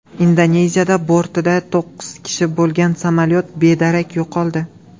Indoneziyada bortida to‘qqiz kishi bo‘lgan samolyot bedarak yo‘qoldi.